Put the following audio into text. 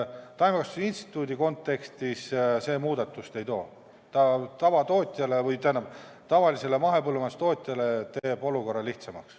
Taimekasvatuse instituudi kontekstis see muudatusi ei too, aga tavalise mahepõllumajandustootja olukorra teeb lihtsamaks.